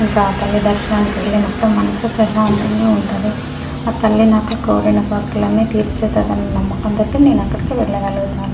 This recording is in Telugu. ఇంకా ఆ తల్లి ధర్శనానికి వెళ్లినపుడు మనుస్షు ప్రసంతగా వుంటది. ఆ తల్లి నాకు కోరిన కోరికలన్నీ తీర్చుతదన్నా నమ్మకం తోటి నేను అక్కడికి వెళ్లగలుగుతాను.